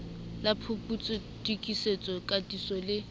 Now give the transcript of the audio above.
la phuputso tokisetso katiso le